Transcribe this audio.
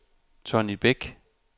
Tonny Bæk